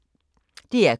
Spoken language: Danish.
DR K